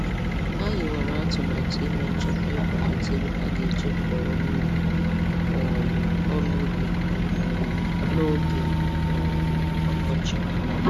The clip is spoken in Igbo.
Ha hiwara atụmatụ ime nchekwa ikwalite ego ha ga-eji kọọ ọrụ ubi um ọrụ ubi um n'oge um ọkọchị.